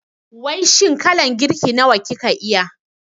Wai shin kalan girki nawa kika iya?